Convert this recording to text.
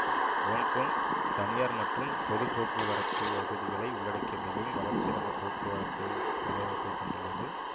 Hong Kong தனியார் மற்றும் பொது போக்கு வரத்து வசதிகளை உள்ளடக்கிய மிகவும் வளர்ச்சியடைந்த போக்குவரத்து வலையமைப்பைக் கொண்டுள்ளது